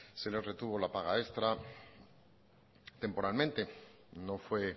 se les retuvo la paga extra temporalmente no fue